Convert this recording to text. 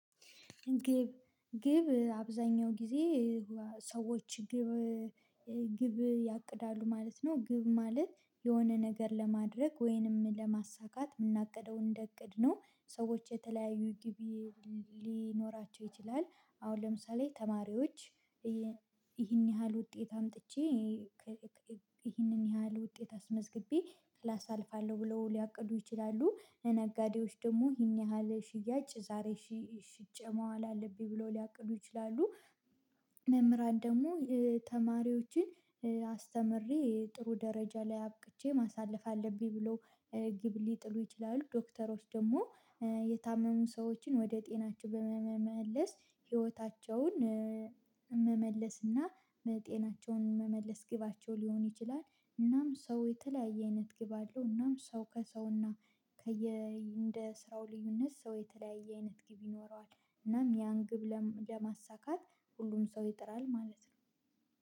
ግብ ግብ አብዛኛው ጊዜ ሰዎች ግብ ግብ ያቅዳሉ ማለት ነው። ግብ ማለት የሆነ ነገር ለማድረግ ወይንም ለማሳካት የምናቅደው እንደ እቅድ ነው። ሰዎች የተለያዩ ግቢ ሊኖራቸው ይችላል። አሁን ለምሳሌ ተማሪዎች ይህን ያህል ውጤት አምጥቼ ይሄንን ያህል ውጤት አስመዝግቤ ክላስ አልፋለሁ ብለው ሊያቅዱ ይችላሉ ለነጋዴዎች ደግሞ ይህን ያህል ሽያጭ ዛሬ ሽጬ መዋል አለብኝ ብለው ሊያቅዱ ይችላሉ። መምህራን ደግሞ ተማሪዎችን አስተምሬ ጥሩ ደረጃ ላይ አብቅቼ ማሳለፍ አለብኝ ብሎ ግብ ሊጥሉ ይችላሉ። ዶክተሮች ደግሞ የታመሙ ሰዎችን ወደ ጤናቸው በመመመለስ ህይወታቸውን መመለስና እና መጤናቸውን መመለስ ግባቸው ሊሆን ይችላል። እናም ሰው የተለያየ አይነት ግብ አለው እናም ሰው ከሰውና ከየ እንደ ስራው ልዩነት ሰው የተለያየ አይነት ግብ ይኖረዋል። እናም ያን ግብ ለማሳካት ሁሉም ሰው ይጥራል ማለት ነው